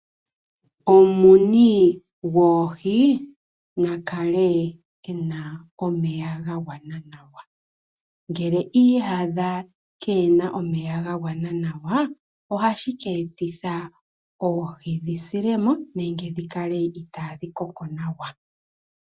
Omumuni goohi na kale e na omeya ga gwana nawa ngele okwiiyadha keena omeya ga gwana nawa ohashi keetitha oohi dhi silemo nenge dhi kale itadhi koko nawa.